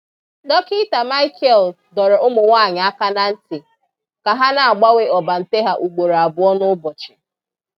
Dọkítà Michael dọ̀rọ̀ ụmụnwáanyị aka n’ntị ka ha na-agbanwe ọ́bàntè ha ugboro abụọ n’ụbọchị.